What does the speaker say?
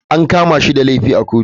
An kama shi da laifi a kotu.